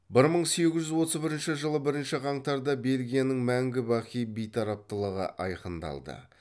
бір мың сегіз жүз отыз бірінші жылы бірінші қаңтарда бельгияның мәңгі бақи бейтараптылығы айқындалды